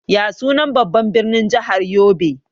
Ya sunan babban birnin jahar yobe?